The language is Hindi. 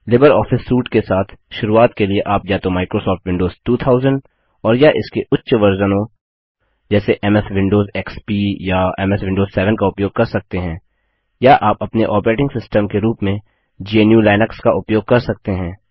लिबर ऑपिस सूट के साथ शुरूआत के लिए आप या तो माइक्रोसॉफ्ट विंडोज 2000 और या इसके उच्च वर्जनों संस्करणों जैसे एमएस विंडोज एक्सपी या एमएस विंडोज 7 का उपयोग कर सकते हैं या आप अपने ऑपरेटिंग सिस्टम के रूप में gnuलिनक्स का उपयोग कर सकते हैं